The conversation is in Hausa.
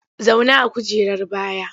Zauna a kujerar baya!